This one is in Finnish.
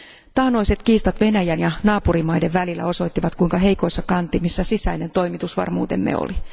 Taannoiset kiistat Venäjän ja naapurimaiden välillä osoittivat kuinka heikoissa kantimissa sisäinen toimitusvarmuutemme oli.